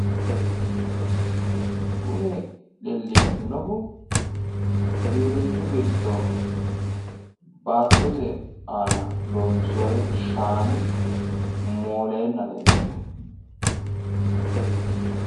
kuni leellishannohu giwirinnu giddo baattote aana loonsseoyi shaani mooleenna leellishawo.